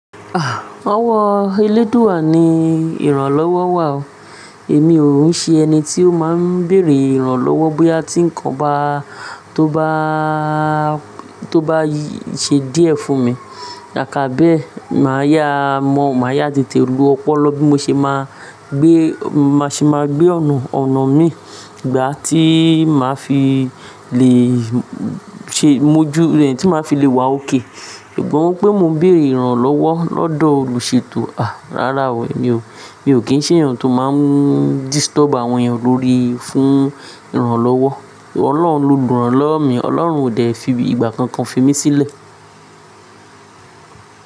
Ah! Owó eléèdú àní ìrànlọ́wọ́ wà o, èmi òun ṣe ẹni tí ó máa ń bèèrè ìrànlọ́wọ́ bóyá tí ńǹkan tó bá, tó bá i ṣe díẹ̀ fún mi. Ká ká bẹ́ẹ̀, màá yá mọ, màá yá tẹté ló ọpọlọ bí mo ṣe máa gbé, má ṣe máa gbé ọ̀nà, ọ̀nà mi ìgbà tí màá fi le ṣe mojú, ìgbà tí màá fi le wà ókè. Ìgbóhùn pé mo ń bèèrè ìrànlọ́wọ́ lọ́dọ̀ olùṣètò, àh! Rárá o, mi ò, mi ò kí ń ṣe ènìyàn tó máa ń disturb àwọn ènìyàn lórí fún ìrànlọ́wọ́. Ọlọ́run lo dùn-án-lọ́wó mi, Ọlọ́run o de fí ìgbà kankan fi mí sílẹ̀.